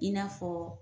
I n'a fɔ